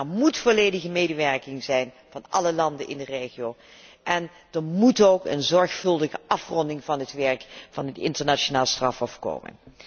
Er moet volledige medewerking zijn van alle landen in de regio en er moet ook een zorgvuldige afronding van het werk van het Internationaal Strafhof komen.